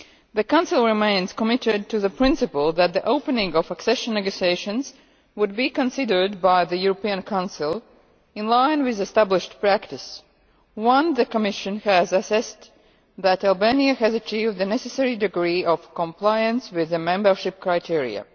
The Council remains committed to the principle that the opening of accession negotiations would be considered by the European Council, in line with established practice, once the Commission had assessed that Albania has achieved the necessary degree of compliance with the membership criteria.